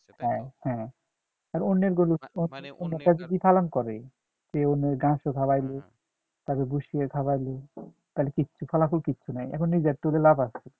হ্যাঁ হ্যাঁ আর অন্যের গরু অন্যেরটা যদি পালন করে ঘাস ও খাওয়াইলো ভুশি ও খাওয়াইল তাইলে কিচ্ছু ফলাফল কিচ্ছু নাই এখন নিজেরটা করে লাভ আছে